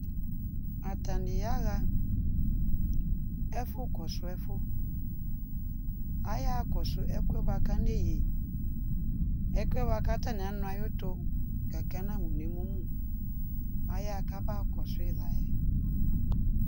atani ayawa ɛfɔkɔsɛƒʊ ayawa kɔsɛ ɛkubakanɛyi ɛkɔɛ bɛakanɛyi kanuayutɔ gakɛ anaʊ nɛmɔmʊ ayakaba kɔsi layɛ